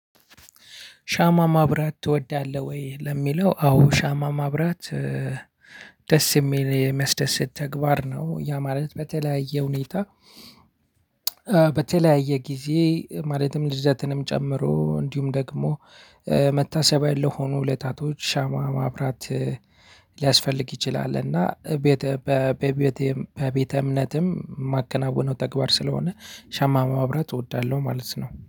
ሻማ ማብራት ትወዳለህ ወይ? ለሚለው አዎ ሻማ ማብራት ደስ የሚል የሚያስደስት ተግባር ነው ያ ማለት በተለያየ ሁኔታ። በተለያየ ጊዜ ማለትም ልደትንም ጨምሮ እንዲሁም ደግሞ መታሰቢያ ለሆኑ ዕለታቶች ሻማ ማብራት ሊያስፈልግ ይችላል እና በቤተ በቤተ በቤተ እምነትም ማከናውነው ተግባር ስለሆነ። ሸማ ማብራት እወዳለሁ ማለት ነው